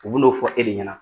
U b'u n'o fɔ e de ɲɛna.